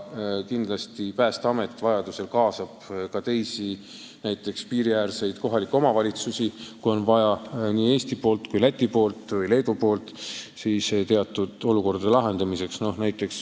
Kindlasti Päästeamet vajadusel kaasab ka teisi, näiteks piiriäärseid kohalikke omavalitsusi, kui on vaja Eesti, Läti või Leedu poolel abi teatud olukordade lahendamiseks.